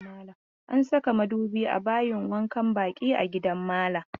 An saka madubi a bayin wankan baki a gidan malam.